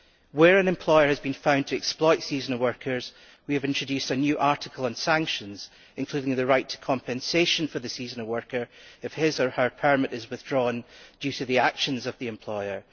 Where an employer has been found to exploit seasonal workers we have introduced a new article on sanctions, including the right to compensation for the seasonal worker if his or her permit is withdrawn due to the actions of the employer.